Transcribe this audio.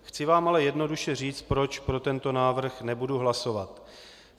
Chci vám ale jednoduše říct, proč pro tento návrh nebudu hlasovat.